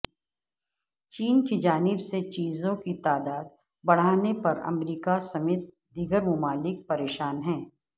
چین کی جانب سے جزیروں کی تعداد بڑھانے پر امریکہ سمیت دیگر ممالک پریشان ہیں